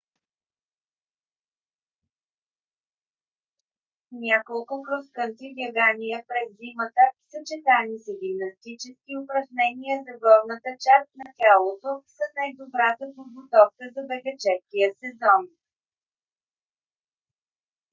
няколко крос кънтри бягания през зимата съчетани с гимнастически упражнения за горната част на тялото са най-добрата подготовка за бегаческия сезон